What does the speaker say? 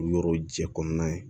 Yɔrɔ jɛ kɔnɔna ye